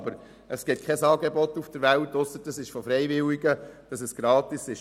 Aber es gibt abgesehen von Freiwilligenarbeit kein Angebot auf der Welt, das gratis ist.